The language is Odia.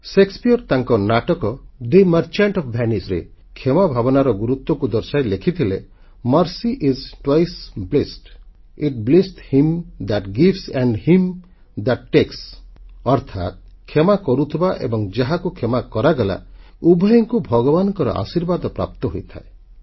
ସେକ୍ସପିୟର ତାଙ୍କ ନାଟକ ଥେ ମର୍ଚେଣ୍ଟ ଓଏଫ୍ Veniceରେ କ୍ଷମା ଭାବନାର ଗୁରୁତ୍ୱକୁ ଦର୍ଶାଇ ଲେଖିଥିଲେ mercy is twice blest it blesseth him that gives and him that takes ଅର୍ଥାତ୍ କ୍ଷମା କରୁଥିବା ଏବଂ ଯାହାକୁ କ୍ଷମା କରାଗଲା ଉଭୟଙ୍କୁ ଭଗବାନଙ୍କ ଆଶୀର୍ବାଦ ପ୍ରାପ୍ତ ହୋଇଥାଏ